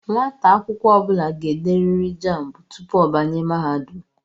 Nwata akwukwo obula ga-ederiri jámbu tupu o banye mahadum